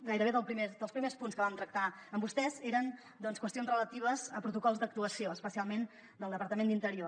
gairebé dels primers punts que vam tractar amb vostès eren doncs qüestions relatives a protocols d’actuació especialment del departament d’interior